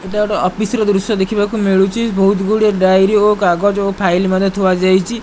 ଏଟା ଗୋଟେ ଅଫିସ ର ଦୃଶ୍ୟ ଦେଖୁବାକୁ ମିଳୁଛି ବହୁତ ଗୁଡ଼ିଏ ଡ଼ାଏରୀ ଓ କାଗଜ ଓ ଫାଇଲି ମଧ୍ୟ ଥୁଆ ଯାଇଛି।